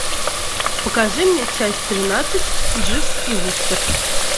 покажи мне часть тринадцать дживс и вустер